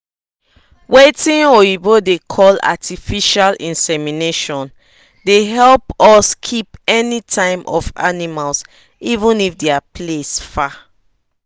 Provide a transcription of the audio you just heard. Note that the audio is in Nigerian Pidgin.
watin oyibo da call artificial insemination the help us keep any time of animas even if the place far